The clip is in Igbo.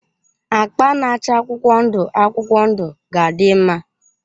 Akpa na-acha akwụkwọ ndụ akwụkwọ ndụ ga-adị mma.